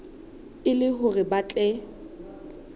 e le hore ba tle